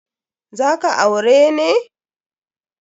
Za ka aure ne?